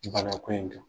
Bana ko in kan